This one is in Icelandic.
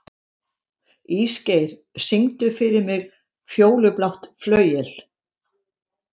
Ísgeir, syngdu fyrir mig „Fjólublátt flauel“.